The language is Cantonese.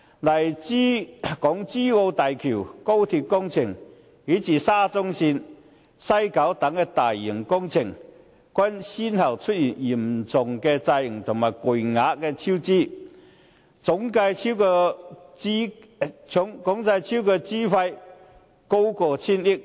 例如港珠澳大橋、高鐵工程，以至沙中線和西九文化區等大型工程，均先後出現嚴重延誤和巨額超支的情況，總計超支費用高達千億元。